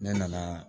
Ne nana